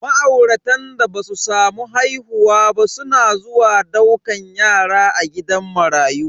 Ma'auratan da basu samu haihuwa ba suna zuwa daukan yara a gidan marayu.